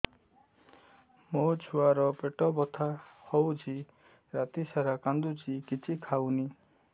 ମୋ ଛୁଆ ର ପେଟ ବଥା ହଉଚି ରାତିସାରା କାନ୍ଦୁଚି କିଛି ଖାଉନି